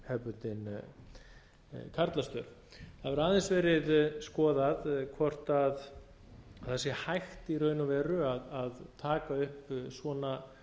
hefðbundin karlastörf það hefur aðeins verið skoðað hvort það sé hægt í raun og veru að taka upp svona